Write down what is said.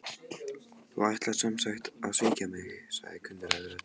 Þú ætlar sem sagt að svíkja mig- sagði kunnugleg rödd.